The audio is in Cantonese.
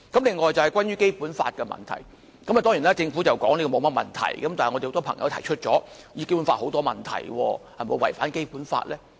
此外就是關於《基本法》的問題，政府當然說沒甚麼問題，但很多朋友也指出涉及《基本法》有很多問題，有關安排是否違反《基本法》呢？